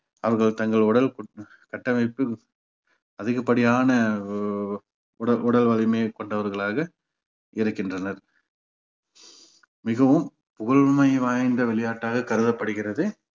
அவர்கள் தங்கள் உடல் கட்டமைப்பு அதிகப்படியான உ~ உடல் உடல் வலிமையை கொண்டவர்களாக இருக்கின்றனர் மிகவும் புகழுமை வாய்ந்த விளையாட்டாக கருதப்படுகிறது